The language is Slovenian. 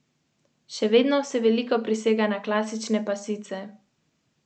V sredo bo na zahodu oblačno in deževno.